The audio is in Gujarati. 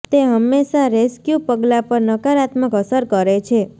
તે હંમેશા રેસ્ક્યૂ પગલાં પર નકારાત્મક અસર કરે છે